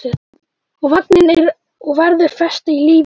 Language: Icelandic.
Og vaninn er og verður festa í lífi manns.